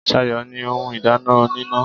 Sayo ní ohun ìdáná oníná.